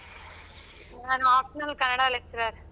ನಾನು optional Kannada lecturer .